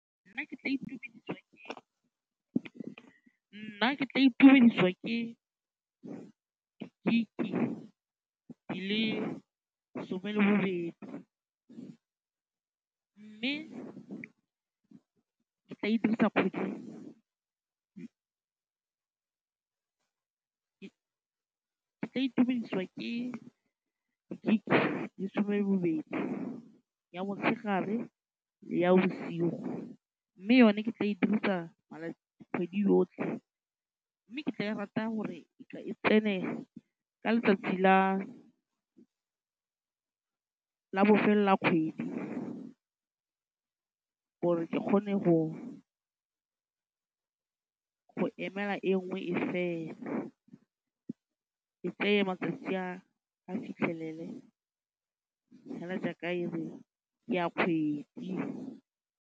Nna ke tla itumediswa ke di-gig-i di le 'some le bobedi mme ke tla e dirisa kgwedi. Ke ka itumediswa ke di-gig-i di le 'some le bobedi, ya motshegare le ya bosigo mme yone ke tla e dirisa kgwedi yotlhe, mme ke tla rata gore e tsene ka letsatsi la bofelo la kgwedi gore ke kgone go emela e nngwe e fele. E tseye matsatsi a fitlhelele fela jaaka ele ya kgwedi.